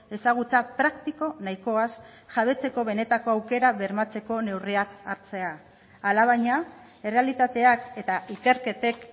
ezagutza praktiko nahikoaz jabetzeko benetako aukera bermatzeko neurriak hartzea alabaina errealitateak eta ikerketek